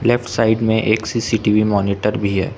Left side में एक CCTV monitor भी है।